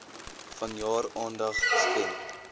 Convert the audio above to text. vanjaar aandag skenk